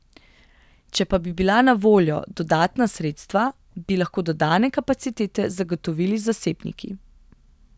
Če pa bi bila na voljo dodatna sredstva, bi lahko dodane kapacitete zagotovili z zasebniki.